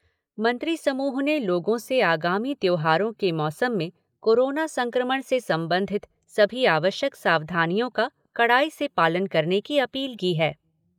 मंत्री समूह ने लोगों से आगामी त्योहारों के मौसम में कोरोना संक्रमण से संबंधित सभी आवश्यक सावधानियों का कड़ाई से पालन करने की अपील की है।